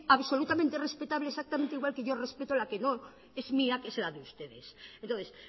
absolutamente respetable exactamente igual que yo respeto la que no es mía que es la de ustedes entonces